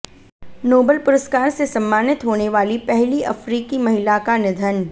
Nobel पुरस्कार से सम्मानित होने वाली पहली अफ्रीकी महिला का निधन